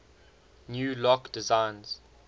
new lock designs